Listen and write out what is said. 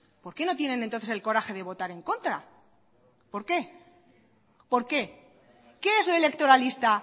por qué no tienen entonces el coraje de votar en contra por qué por qué qué es lo electoralista